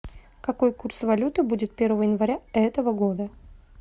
какой курс валюты будет первого января этого года